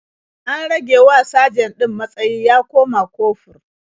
An ragewa sajan ɗin matsayi ya koma kofur.